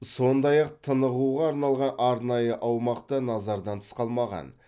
сондай ақ тынығуға арналған арнайы аумақ та назардан тыс қалмаған